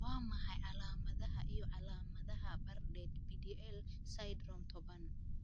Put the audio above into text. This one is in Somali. Waa maxay calaamadaha iyo calaamadaha Bardet Biedl syndrome tobaan ?